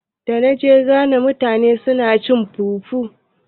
Da na je Ghana na ga mutane na cin fufu.